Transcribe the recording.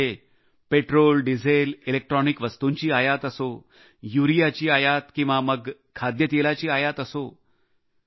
मग ते petrol diesel इंधन इलेक्ट्रॉनिक वस्तूंची आयात असो यूरियाची आयात किंवा मग खाद्यतेलाची आयात असो